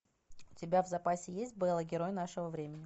у тебя в запасе есть бэла герой нашего времени